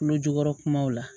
Tulo jukɔrɔ kumaw la